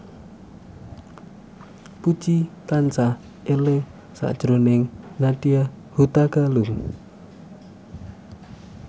Puji tansah eling sakjroning Nadya Hutagalung